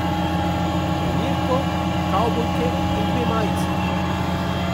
Trenirko, kavbojke in dve majici.